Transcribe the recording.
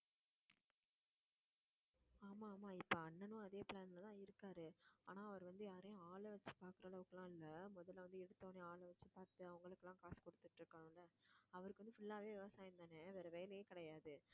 ஆமா ஆமா இப்ப அண்ணனும் அதே plan ல தான் இருக்காரு ஆனா அவரு வந்து யாரையும் ஆள வச்சு பாக்குற அளவுக்குலாம் இல்ல முதல்ல வந்து எடுத்த உடனே ஆளை வச்சு பாத்து அவங்களுக்கெல்லாம் காசு குடுத்துட்டு அவருக்கு வந்து full ஆவே விவசாயம்தானே வேற வேலையே கிடையாது